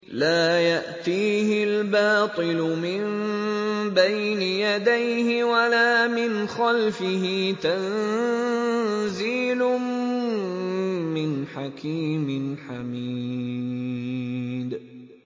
لَّا يَأْتِيهِ الْبَاطِلُ مِن بَيْنِ يَدَيْهِ وَلَا مِنْ خَلْفِهِ ۖ تَنزِيلٌ مِّنْ حَكِيمٍ حَمِيدٍ